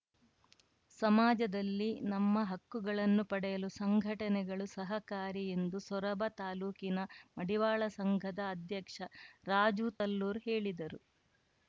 ಸಮಾಜದಲ್ಲಿ ನಮ್ಮ ಹಕ್ಕುಗಳನ್ನು ಪಡೆಯಲು ಸಂಘಟನೆಗಳು ಸಹಕಾರಿ ಎಂದು ಸೊರಬ ತಾಲೂಕಿನ ಮಡಿವಾಳ ಸಂಘದ ಅಧ್ಯಕ್ಷ ರಾಜು ತಲ್ಲೂರ್ ಹೇಳಿದರು